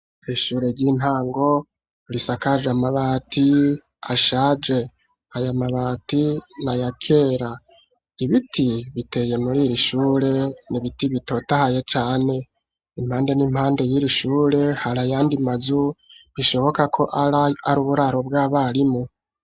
Ishure ry'intango risakaje amabati ashaje aya mabati na yakera ibiti biteye muriri shure nibiti bitotahaye cane impande n'impande yiri shure harayandi mazu bishoboka ko ari uburaro bw'abarimu